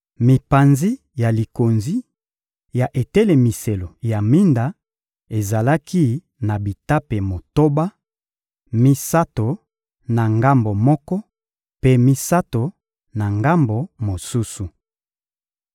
Mipanzi ya likonzi ya etelemiselo ya minda ezalaki na bitape motoba: misato na ngambo moko, mpe misato na ngambo mosusu.